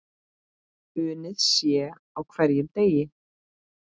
Unnið sé á hverjum degi.